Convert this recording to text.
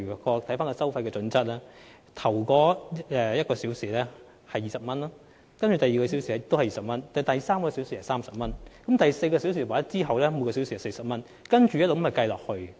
根據收費準則，第一小時收費20元，第二小時收費亦是20元，第三小時是30元，而第四小時及其後每小時則是40元，如此類推。